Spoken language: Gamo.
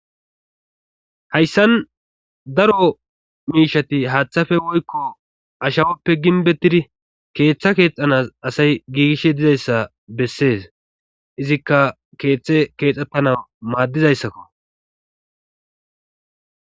Hayssan daro miishati haaththafe woykko ashawoppe ginbettidi keeththa keexanas asay giigish dizayssa bessees izikka keeththe keexxettana maaddizayssakko.